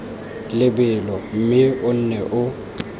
lebelo mme o nne o